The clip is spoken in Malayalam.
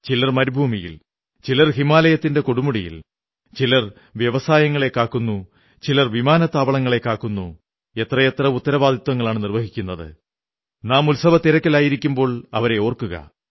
ചിലർ മരുഭൂമിയിൽ ചിലർ ഹിമാലയത്തിന്റെ കൊടുമുടിയിൽ ചിലർ വ്യവസായശാലകളെ കാക്കുന്നു ചിലർ വിമാനത്താവളങ്ങളെ കാക്കുന്നു എത്രയെത്ര ഉത്തരവാദിത്വങ്ങളാണു നിർവ്വഹിക്കുന്നത് നാം ഉത്സവത്തിരക്കിലായിരിക്കുമ്പോൾ അവരെ ഓർക്കുക